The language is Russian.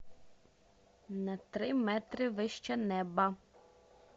на три метра выше неба